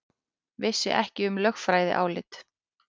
Vissi ekki um lögfræðiálit